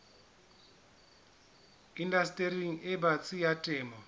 indastering e batsi ya temo